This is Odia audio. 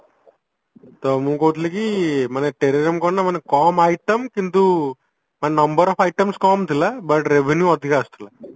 ତ ମୁଁ କହୁଥିଲି କି ମାନେ Terrarium କଣ ନାଁ ମାନେ କମ item କିନ୍ତୁ ମାନେ number of items କମ ଥିଲା but revenue ଅଧିକା ଆସୁଥିଲା